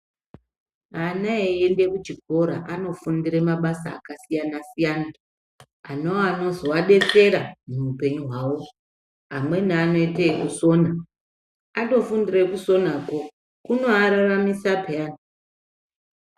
Ana eiende kuchikora anofundire mabasa akasiyana siyana anova anozovadetsera muhupenyu hwawo, amweni anoite ekusona atofindire kusonako kunoararamisa peyani.